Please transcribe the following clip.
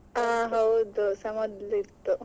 ಹಾ ಹೌದು ಅದುಸ ಮೊದ್ಲಿತ್ತು.